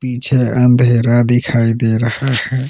पीछे अंधेरा दिखाई दे रहा है।